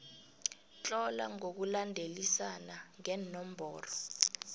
tlola ngokulandelisana ngeenomboro